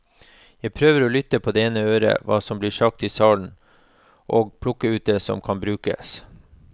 Jeg prøver å lytte på det ene øret hva som blir sagt i salen og plukke ut det som kan brukes.